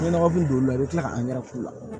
N'i nɔgɔ b'i don la i bɛ tila ka k'u la